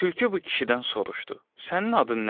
Tülkü bu kişidən soruşdu: Sənin adın nədir?